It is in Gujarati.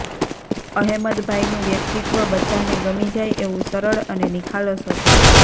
અહેમદભાઇનું વ્યક્તિત્વ બધાને ગમી જાય એવું સરળ અને નિખાલસ હતું